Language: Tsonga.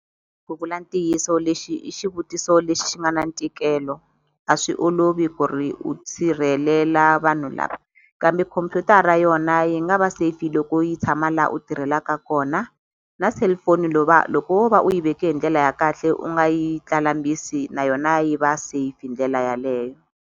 Ku vula ntiyiso lexi i xivutiso lexi xi nga na ntikelo a swi olovi ku ri u sirhelela vanhu lava kambe khompyutara yona yi nga va safe loko yi tshama la u tirhelaka kona na cellphone loko wo va u yi veke hi ndlela ya kahle u nga yi na yona yi va safe hi ndlela yaleyo.